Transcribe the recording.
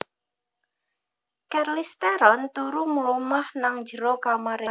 Charlize Theron turu mlumah nang njero kamare